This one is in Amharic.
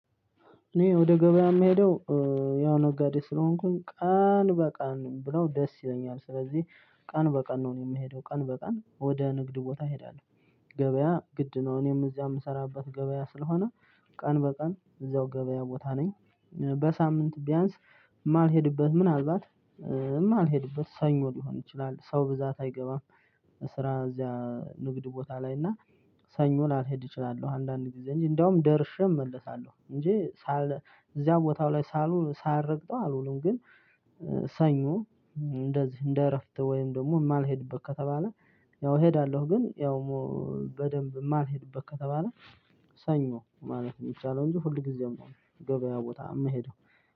እኔ ወደ ገበያ የምሄደው ያው ነጋዴ ስለሆንኩኝ ቀን በቀን ብለው ደስ ይለኛል ስለዚህ ቀን በቀን ነው እኔ የምሄደው ቀን በቀን ወደ ንግድ ቦታ እሄዳለው። ገበያ ግድ ነው እኔም እዚያ የምሰራበት ገበያ ስለሆነ ቀን በቀን እዛው ገበያ ቦታ ነኝ። በሳምንት ቢያንስ የማልሄድበት ምናልባት ማልሄድበት ሰኞ ሊሆን ይችላል ሰው ብዛት አይገባም። ስራ እዚያ ንግድ ቦታ ላይ እና ሰኞ ላልሄድ እችላለሁ። አንዳንዴ ጊዜ እንጂ እንደውም ደርሼ እመለሳለሁ እንጂ ሳል እዚያው ቦታው ላይ ሳልውል ሳልረግጠው አልውልም። ግን ሰኞ እንደዚህ እንደ እረፍት ወይም ደግሞ የማልሄድበት ከተባለ ያው እሄዳለሁ። ግን ያውሙ በደንብ የማልሄድበት ከተባለ ሰኞ ማለት የሚቻለው እንጂ ሁል ጊዜም ነው። ገበያ ቦታ የምሄደው